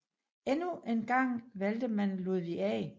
Endnu en gang valgte man Ludvig A